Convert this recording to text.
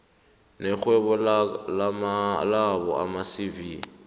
nekghono labo amacv